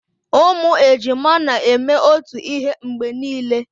Ụmụ ejima na-eme otu ihe mgbe niile